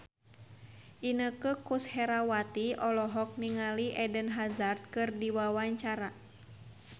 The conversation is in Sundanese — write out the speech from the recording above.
Inneke Koesherawati olohok ningali Eden Hazard keur diwawancara